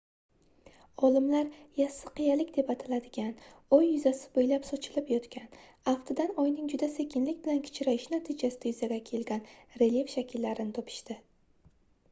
olimlar yassi qiyaliklar deb ataladigan oy yuzasi boʻylab sochilib yotgan aftidan oyning juda sekinlik bilan kichrayishi natijasida yuzaga kelgan relyef shakllarini topishdi